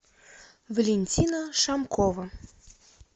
валентина шамкова